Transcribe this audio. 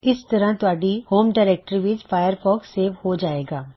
ਇਸ ਤਰ੍ਹਾਂ ਤੁਹਾਡੀ ਹੋਮ ਡਾਇਰੈਕਟਰੀ ਵਿੱਚ ਫਾਇਰਫੌਕਸ ਸੇਵ ਹੋ ਜਾਏਗਾ